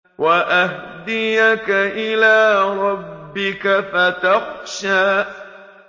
وَأَهْدِيَكَ إِلَىٰ رَبِّكَ فَتَخْشَىٰ